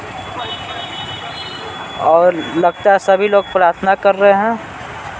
और लगता है सभी लोग प्रार्थना कर रहे है।